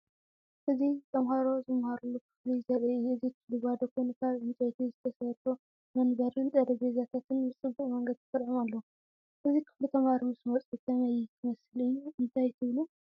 እዚ ተማሃሮ ዝመሃሩሉ ክፍሊ ዘርኢ እዩ። እቲ ክፍሊ ባዶ ኮይኑ፡ ካብ ዕንጨይቲ ዝተሰርሑ መንበርን ጠረጴዛታትን ብፅበቅ መንገዲ ተሰሪዖም ኣለዉ። እዚ ክፍሊ ተማሃሮ ምስ መጹ ከመይ ክመስል እዩ፣ እንታይ ትብሉ?